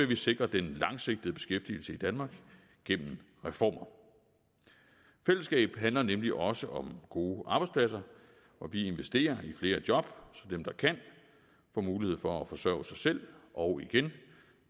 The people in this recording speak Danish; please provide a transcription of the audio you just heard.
vi sikrer den langsigtede beskæftigelse i danmark gennem reformer fællesskab handler nemlig også om gode arbejdspladser og vi investerer i flere job så dem der kan får mulighed for at forsørge sig selv og igen